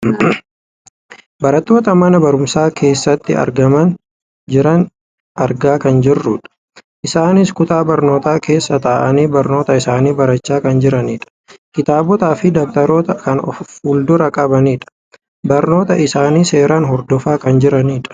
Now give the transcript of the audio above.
barattoota mana barumsaa keessatti argamaa jiran argaa kan jirrudha. isaanis kutaa barnootaa keessa taa'anii barnoota isaanii barachaa kan jiranidha. kitaabotaafi dabtaroota kan of fuulduraa qabanidha. barnoota isaanii seeraan hordofaa kan jiranidha.